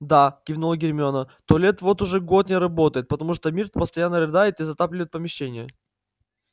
да кивнула гермиона туалет вот уже год не работает потому что миртл постоянно рыдает и затапливает помещение